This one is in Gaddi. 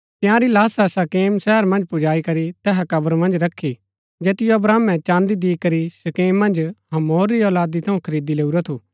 तंयारी लाशा शकेम शहर मन्ज पुजाई करी तैहा कब्र मन्ज रखी जैतिओ अब्राहमे चाँदी दिकरी शकेम मन्ज हमोर री औलादी थऊँ खरीदी लैऊरा थू